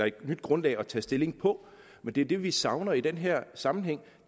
et nyt grundlag at tage stilling på det er det vi savner i den her sammenhæng